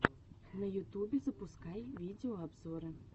на ютубе запускай видеообзоры